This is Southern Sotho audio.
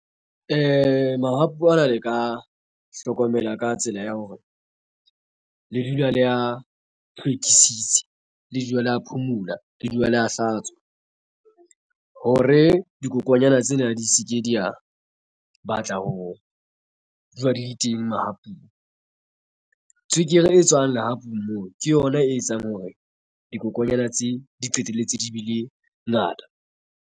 Mahapu ana le ka a hlokomela ka tsela ya hore le dula le ya hlwekisitse le dula le a phumula le dula le a hlatswa hore dikokonyana tsena di se ke di a batla ho ja di teng mahapung. Tswekere e tswang lehapu moo ke yona e etsang hore dikokonyana tse di qetelletse di bile ngata.